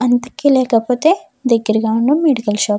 అంతకి లేకపోతే దగ్గరగా ఉన్న మెడికల్ షాప్ .